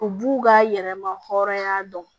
U b'u ka yɛrɛma hɔrɔnya dɔn